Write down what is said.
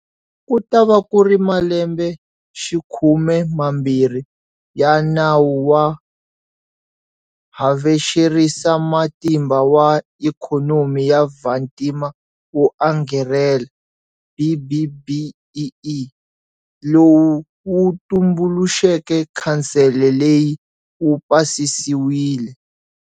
Ku ta va ku ri ma lembexikhume mambirhi ya Nawu wa Havexerisamatimba wa Ikhonomi ya Vantima wo Angarhela, BBBEE - lowu wu tumbuluxeke khansele leyi - wu pasisiwile.